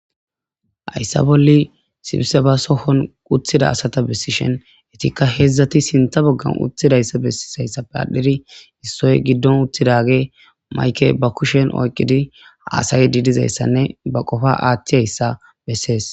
Hayssa bolli sibsabba sohon uttida asata besishin etikka hedzdzati sinththa baggara uttidaysa besishizaysappe adhdhidi issoyi giddon uttidaggeyi mayikke bakushshen oyqqidi hassayidi dizayissanne ba qopa aththiyayisa besses.